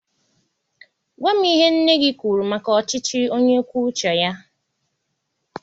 Gwa m ihe nne gị kwuru maka ọchịchị onye kwuo uche ya.